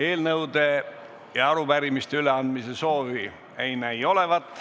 Eelnõude ja arupärimiste üleandmise soovi ei näi olevat.